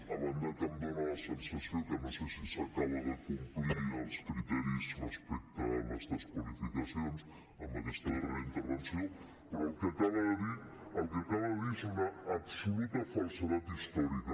a banda que em dona la sensació que no sé si s’acaben de complir els criteris respecte a les desqualificacions amb aquesta darrera intervenció però el que acaba de dir és una absoluta falsedat històrica